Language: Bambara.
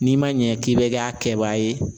N'i ma ɲɛ k'i bɛ kɛ a kɛbaa ye